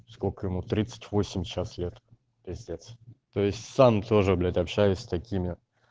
сколько ему тридцать восемь сейчас лет пиздец то есть сам тоже блять общаюсь с такими